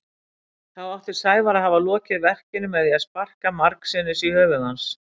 Þá átti Sævar að hafa lokið verkinu með því að sparka margsinnis í höfuð hans.